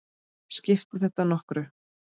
Skiptir þetta nokkru?